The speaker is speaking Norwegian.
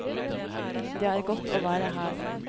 Det er godt å være her.